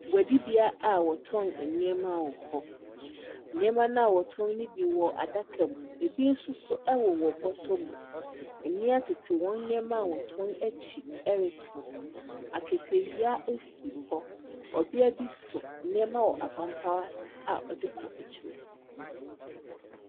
Guadi bea a wɔtɔn ɛneɛma wɔ hɔ, nneɛma na wɔtɔn no bi wɔ adaka mu, ebi nso so ɛwowɔ bɔtɔ mu. Mmea tete wɔn nneɛma wɔtɔn akyi ɛretɔn, aketewia esi hɔ, ɔbea bi so nneɛma wɔ apanpanso a ɔde kɔ akyima.